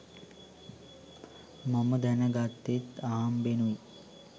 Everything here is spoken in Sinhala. මම දැන ගත්තෙත් අහම්බෙනුයි.